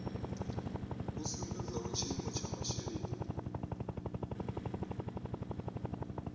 vhu sumbedzaho tshiimo tsha masheleni